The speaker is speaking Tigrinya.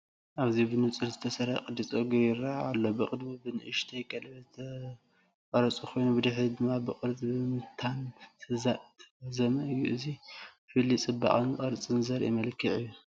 ኣብዚ ብንጹር ዝተሰርሐ ቅዲ ጸጉሪ ይረአ ኣሎ። ብቕድሚት ብንእሽቶ ቀለቤት ዝተቖርጸ ኮይኑ ብድሕሪት ድማ ብቅርጺ ምብታን ዝተዛዘመ እዩ። እዚ ፍልልይ ጽባቐን ቅርጽን ዘርኢ መልክዕ እዩ።